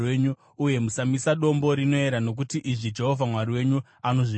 Uye musamisa dombo rinoera, nokuti izvi Jehovha Mwari wenyu anozvivenga.